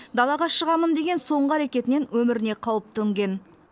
далаға шығамын деген соңғы әрекетінен өміріне қауіп төнген